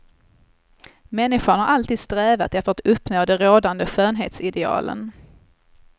Människan har alltid strävat efter att uppnå de rådande skönhetsidealen.